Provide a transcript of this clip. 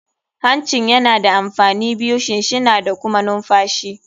Hancin yana da amfani biyu, shinshina da kuma numfashi.